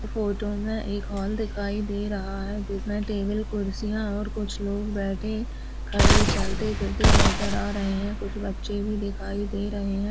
Photo में एक hall दिखाई दे रहा है जिसमें टेबल कुर्सियां और कुछ लोग बैठे खड़े चलते फिरते नजर आ रहे हैं कुछ बच्चे भी दिखाई दे रहे हैं।